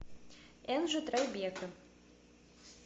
энджи трайбека